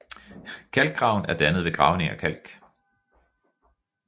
Kalkgraven er dannnet ved gravning af kalk